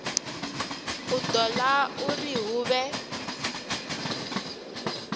u ṱoḓa uri hu vhe